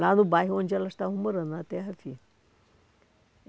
Lá no bairro onde elas estavam morando, na Terra-Firme.